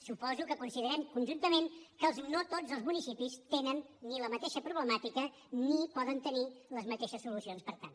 suposo que considerem conjuntament que no tots els municipis tenen la mateixa problemàtica ni poden tenir les mateixes solucions per tant